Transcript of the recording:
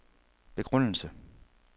begrundelse